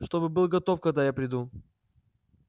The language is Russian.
чтобы был готов когда я приду